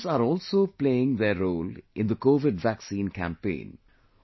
Drones are also playing their role in the Covid vaccine campaign